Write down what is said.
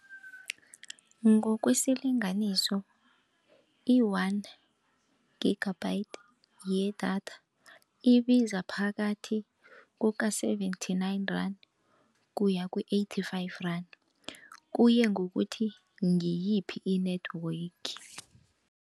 Ngokwesilinganiso i-one gigabyte yedatha ibiza phakathi kuka-seventy-nine rand, kuya ku-eighty-five rand, kuya ngokuthi ngiyiphi i-network.